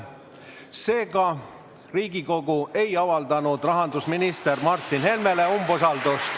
Seega ei avaldanud Riigikogu rahandusminister Martin Helmele umbusaldust.